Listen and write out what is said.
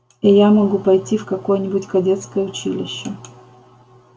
и я могу пойти в какое-нибудь кадетское училище